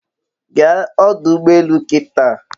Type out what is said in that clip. Gaa ọdụ ụgbọ elù kịtà